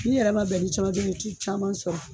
N'i yɛrɛ ma bɛn ni caman ye don min i te caman sɔrɔ.